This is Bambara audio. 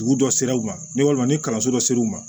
Dugu dɔ sera u ma ni walima ni kalanso dɔ sera u ma